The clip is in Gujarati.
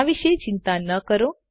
આ વિશે ચિંતા ન કરો